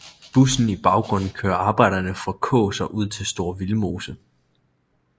Bussen i baggrunden kører arbejderne fra Kaas og ud til Store Vildmose